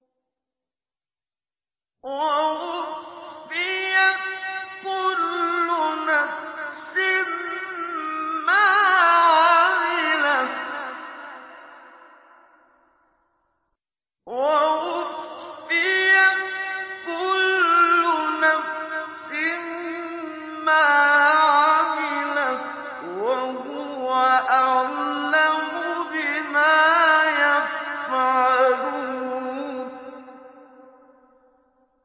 وَوُفِّيَتْ كُلُّ نَفْسٍ مَّا عَمِلَتْ وَهُوَ أَعْلَمُ بِمَا يَفْعَلُونَ